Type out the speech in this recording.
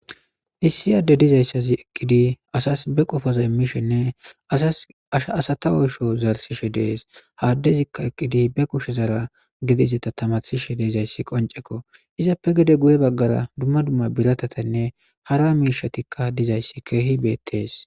issi aadde dizayssazi eqqidi asas be qofaza immishenne shasata oysho zarsishe dees haaddezikka eqqidi be kushe zaara gedizeta tamasishe deezayssi qoncekko izappe gede guye baggara dumma dumma biratatanne hara miishatikka dizayssi keehi beettees